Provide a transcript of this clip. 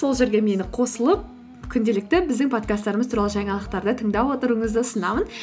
сол жерге мені қосылып күнделікті біздің подкасттарымыз туралы жаңалықтарды тыңдап отыруыңызды ұсынамын